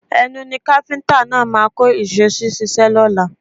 Ẹnu ni káfíńtà náà máa kó ìṣó sí ṣíṣe lọ́la